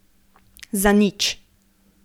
Zanič.